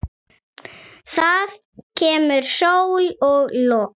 Það kemur sól og logn.